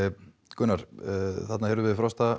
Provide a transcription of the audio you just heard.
Gunnar þarna heyrðum við Frosta